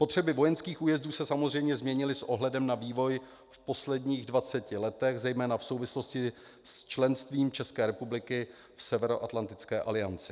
Potřeby vojenských újezdů se samozřejmě změnily s ohledem na vývoj v posledních 20 letech zejména v souvislosti s členstvím ČR v Severoatlantické alianci.